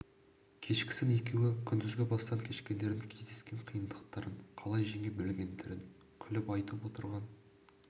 кешкісін екеуі күндізгі бастан кешкендерін кездескен қиындықтарын қалай жеңе білгендерін күліп айтып отырған